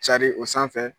Carin o sanfɛ